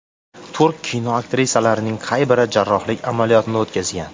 Turk kino aktrisalarining qay biri jarrohlik amaliyotini o‘tkazgan?